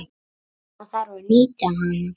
Það þarf að nýta hana.